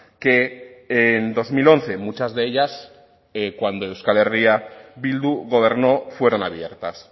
que en dos mil once muchas de ellas cuando euskal herria bildu gobernó fueron abiertas